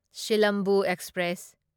Silambu express